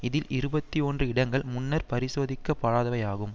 இதில் இருபத்தி ஒன்று இடங்கள் முன்னர் பரிசோதிக்கப்படாதவையாகும்